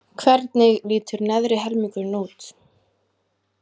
Hvernig lítur neðri helmingurinn út?